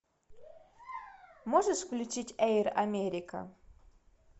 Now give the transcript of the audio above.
можешь включить эйр америка